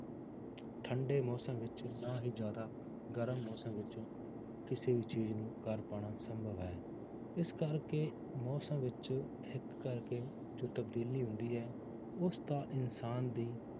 ਠੰਢੇ ਮੌਸਮ ਵਿੱਚ ਨਾ ਹੀ ਜ਼ਿਆਦਾ ਗਰਮ ਮੌਸਮ ਵਿੱਚ ਕਿਸੇ ਵੀ ਚੀਜ਼ ਨੂੰ ਕਰ ਪਾਉਣਾ ਸੰਭਵ ਹੈ, ਇਸ ਕਰਕੇ ਮੌਸਮ ਵਿੱਚ ਹਿਕ ਕਰਕੇ ਜੋ ਤਬਦੀਲੀ ਹੁੰਦੀ ਹੈ, ਉਸਦਾ ਇਨਸਾਨ ਦੀ